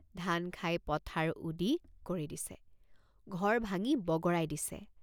ধান খাই পথাৰ উদি কৰি দিছে ঘৰ ভাঙি বগৰাই দিছে।